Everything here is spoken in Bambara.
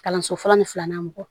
Kalanso fɔlɔ ni filanan mɔgɔ